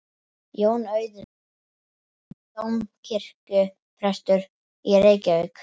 Jón Auðuns, síðar dómkirkjuprestur í Reykjavík.